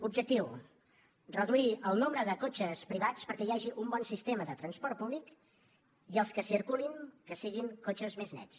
objectiu reduir el nombre de cotxes privats perquè hi hagi un bon sistema de transport públic i els que circulin que siguin cotxes més nets